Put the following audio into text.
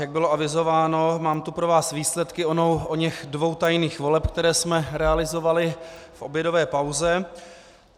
Jak bylo avizováno, mám tu pro vás výsledky oněch dvou tajných voleb, které jsme realizovali v obědové pauze.